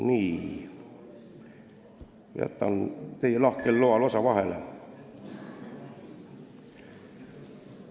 Nii, jätan teie lahkel loal osa vahele.